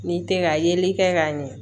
N'i tɛ ka yeli kɛ ka ɲɛ